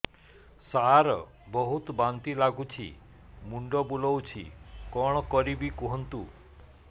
ସାର ବହୁତ ବାନ୍ତି ଲାଗୁଛି ମୁଣ୍ଡ ବୁଲୋଉଛି କଣ କରିବି କୁହନ୍ତୁ